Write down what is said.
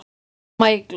Amma Eygló.